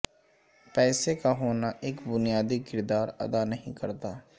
پیسے کا ہونا ایک بنیادی کردار ادا نہیں کرتا